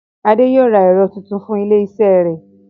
Adé yóò ra ẹ̀rọ tuntun fún ilé iṣẹ́ rẹ̀